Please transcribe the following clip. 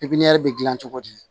Pipiniyɛri dil'i la cogo di